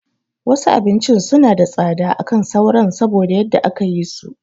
Wasu abincin suna da tsada akan sauran saboda yadda aka yi so